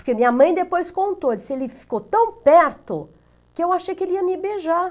Porque minha mãe depois contou, disse que ele ficou tão perto que eu achei que ele ia me beijar.